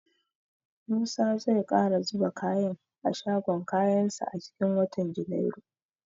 Musa zai ƙara zuba kaya a shagon kayansa a cikin watan junairu.